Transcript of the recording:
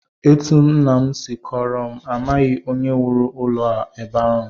Etu nna m si kọọrọ m, amaghị onye wuru ụlọ a ebe ahụ